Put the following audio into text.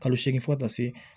Kalo seegin fɔ ka taa se